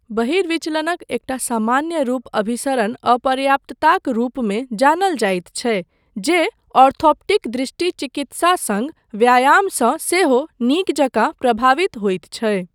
बहिर्विचलनक एकटा सामान्य रूप अभिसरण अपर्याप्तताक रूपमे जानल जाइत छै जे ऑर्थोप्टिक दृष्टि चिकित्सा सङ्ग व्यायामसँ सेहो नीक जकाँ प्रभावित होइत छै।